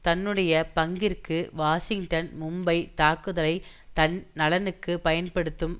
தன்னுடைய பங்கிற்கு வாஷிங்டன் மும்பை தாக்குதலை தன் நலனுக்கு பயன்படுத்தும்